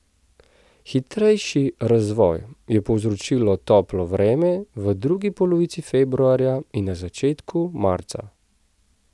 Hitrejši razvoj je povzročilo toplo vreme v drugi polovici februarja in na začetku marca.